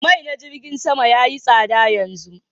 Mai na jirgin Sama yayi tsada yanzu